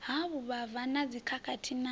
ha vhuvhava na dzikhakhathi na